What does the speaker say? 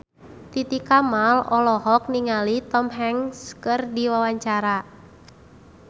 Titi Kamal olohok ningali Tom Hanks keur diwawancara